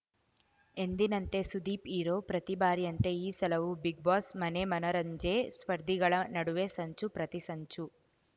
ಎಂದಿನಂತೆ ಸುದೀಪ್‌ ಹೀರೋ ಪ್ರತಿ ಬಾರಿಯಂತೆ ಈ ಸಲವೂ ಬಿಗ್‌ ಬಾಸ್‌ ಮನೆ ಮನರಂಜೆ ಸ್ಪರ್ಧಿಗಳ ನಡುವೆ ಸಂಚು ಪ್ರತಿ ಸಂಚು